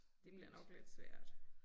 Det bliver nok lidt svært